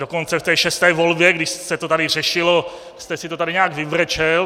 Dokonce v té šesté volbě, kdy se to tady řešilo, jste si to tady nějak vybrečel.